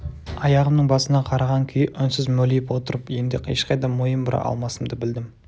аяғымның басына қараған күйі үнсіз мөлиіп отырып енді ешқайда мойын бұра алмасымды білдім